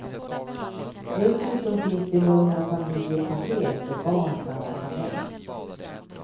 Dessutom finns det lugna familjepaket där barn kan åka med.